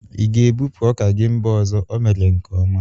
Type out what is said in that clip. I ga ebupu oka gi mba ọzọ? Ọ mere nke ọma